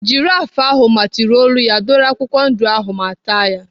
Jiraf ahụ matịrị olu ya dọrọ akwụkwọ ndụ ahụ ma taa ya.